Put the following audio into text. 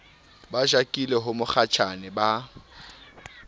ba jakile ho mokgatjhane ba